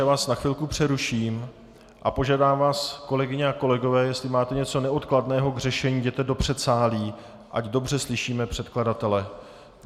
Já vás na chvilku přeruším a požádám vás, kolegyně a kolegové, jestli máte něco neodkladného k řešení, jděte do předsálí, ať dobře slyšíme předkladatele.